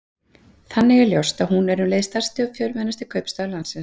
Þannig er ljóst að hún er um leið stærsti eða fjölmennasti kaupstaður landsins.